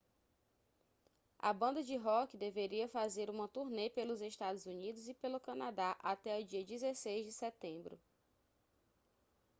a banda de rock deveria fazer uma turnê pelos estados unidos e pelo canadá até o dia 16 de setembro